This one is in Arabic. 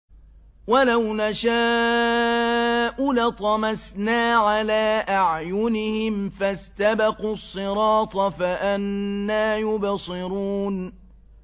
وَلَوْ نَشَاءُ لَطَمَسْنَا عَلَىٰ أَعْيُنِهِمْ فَاسْتَبَقُوا الصِّرَاطَ فَأَنَّىٰ يُبْصِرُونَ